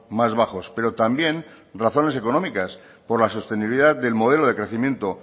más bajos pero también razones económicas por la sostenibilidad del modelo de crecimiento